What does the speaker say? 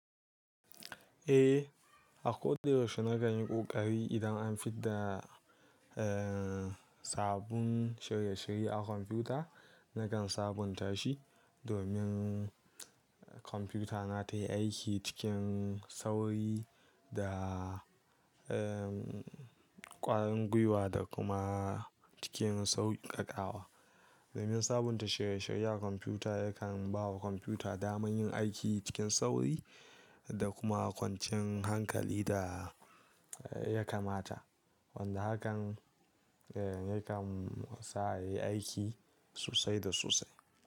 Eh, a ko da yaushe nakan yi ƙoƙari idan an fidda, eh, sabun shirye-shirye a kwamfuta, nakan sabunta shi domin kwamfutana tayi aiki cikin sauri da, ehm, ƙwarin gwiwa da kuma cikin sauƙaƙawa. Domin sabunta shirye-shirye a kwamfuta yakan bawa kwamfuta damar yin aiki cikin sauri da kuma kwancin hankali da ya kamata. Wanda hakan, eh, yakan sa yayi aiki sosai da sosai.